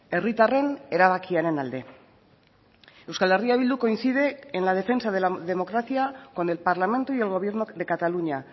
herritarren erabakiaren alde euskal herria bildu coincide en la defensa de la democracia con el parlamento y el gobierno de cataluña